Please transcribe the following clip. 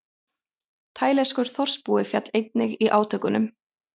Taílenskur þorpsbúi féll einnig í átökunum